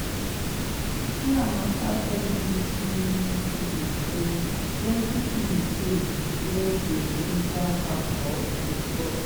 chiamaka tell bbc news pidgin say plenti tins dey wey dey ginger her for football.